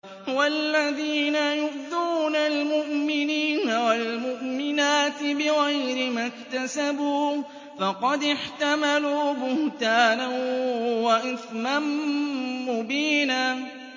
وَالَّذِينَ يُؤْذُونَ الْمُؤْمِنِينَ وَالْمُؤْمِنَاتِ بِغَيْرِ مَا اكْتَسَبُوا فَقَدِ احْتَمَلُوا بُهْتَانًا وَإِثْمًا مُّبِينًا